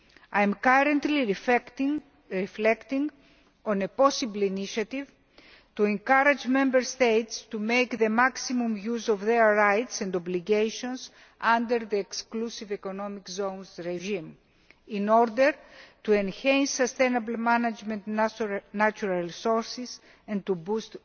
I am currently reflecting on a possible initiative to encourage Member States to make the maximum use of their rights and obligations under the exclusive economic zones regime, in order to enhance sustainable management of natural resources and to boost